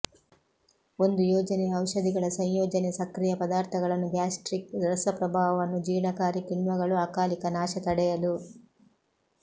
ಒಂದು ಯೋಜನೆಯ ಔಷಧಿಗಳ ಸಂಯೋಜನೆ ಸಕ್ರಿಯ ಪದಾರ್ಥಗಳನ್ನು ಗ್ಯಾಸ್ಟ್ರಿಕ್ ರಸ ಪ್ರಭಾವವನ್ನು ಜೀರ್ಣಕಾರಿ ಕಿಣ್ವಗಳು ಅಕಾಲಿಕ ನಾಶ ತಡೆಯಲು